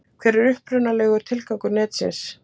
Hver var upprunalegur tilgangur netsins?